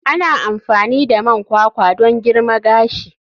Ana amfani da man kwakwa don girma gashi.